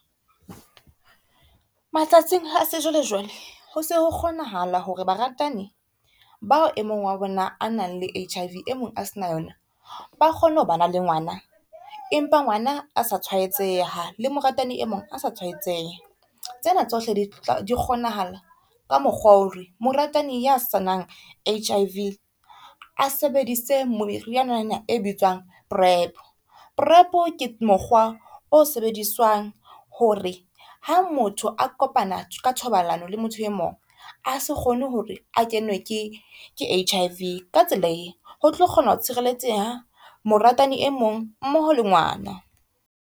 Matsatsing a sejwalejwale ho se ho kgonahala hore baratani bao e mong wa bona a nang le H_I_V e mong a se na yona, ba kgone ho ba na le ngwana empa ngwana a sa tshwaetseha le moratani e mong a sa tshwaetseha. Tsena tsohle di tla kgonahala ka mokgwa wa hore moratani ya sanang H_I_V a sebedise meriana e bitswang prep. Prep ke mokgwa o sebediswang hore ha motho a kopana ka thobalano le motho e mong a se kgone hore a kenwe ke H_I_V. Ka tsela e ho tlo kgona ho tshireletseha moratani e mong mmoho le ngwana.